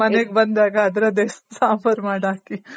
ನಿಮ್ ಮನೆಗೆ ಬಂದಾಗ ಅದ್ರದೆ ಸಾಂಬಾರ್ ಮಾಡ್ ಹಾಕಿ